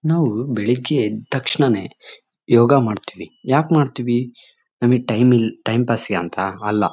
ನಾವು ಬೆಳ್ಳಿಗ್ಗೆ ಎದ್ದ್ ತಕ್ಷಣವೇ ಯೋಗ ಮಾಡ್ತೀವಿ ಯಾಕ್ ಮಾಡ್ತೀವಿ? ನಮಗೆ ಟೈಮ್ ಟೈಮ್ ಪಾಸ್ ಗಂತ ಅಲ್ಲ.